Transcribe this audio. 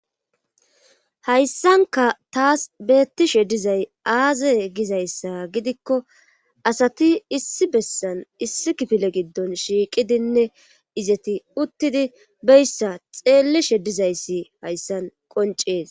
hayssanka taas beettishe dizay aaze gizayssa gidikko asati issi bessan issi kifile giddon shiiqidinne izeti uttidi beyssa xeelli she dizayssi hayssan qoncees